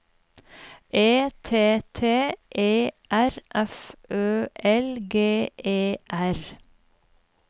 E T T E R F Ø L G E R